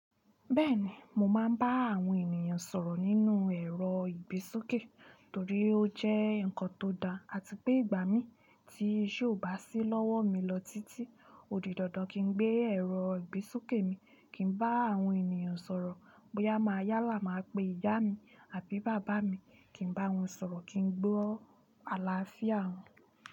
Bẹ́ẹ̀ni, mo máa ń bá àwọn ènìyàn sọ̀rọ̀ nínú ẹ̀rọ ìgbésókè torí ó jẹ́ ǹkan tó da àti pé ìgbà mi tí iṣe o bà sí lọ́wọ́ mi lọ títí, òdì dandan kí n gbé ẹ̀rọ ìgbésókè mi kí n bá àwọn ènìyàn sọ̀rọ̀. Bóyá máa yálà máa pe ìyá mi àbí bàbá mi, kí n bá wọn sọ̀rọ̀ kí ń gbọ́ àlàáfíà wọn.